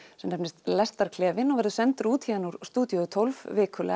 hann nefnist lestarklefinn og verður sendur út héðan úr stúdíó tólf